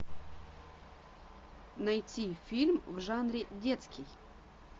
найти фильм в жанре детский